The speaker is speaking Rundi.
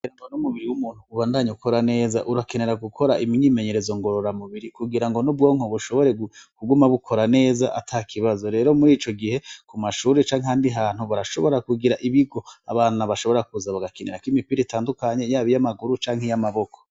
Ramba n'umubiri w'umuntu ubandanye ukora neza urakenera gukora imyimenyerezo ngo rora mubiri kugira ngo n'ubwonke bushobore kuguma bukora neza ata kibazo rero muri ico gihe ku mashuri canke handi hantu barashobora kugira ibigo abana bashobora kuza bagakenera ko imipira itandukanye yabo iy' amaguru canke iy'amaboko.